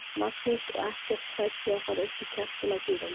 Magnús: Og ekkert hrædd við að fara upp í kjaftinn á dýrunum?